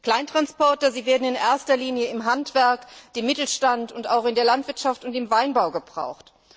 Kleintransporter werden in erster Linie im Handwerk, im Mittelstand und auch in der Landwirtschaft und im Weinbau gebraucht.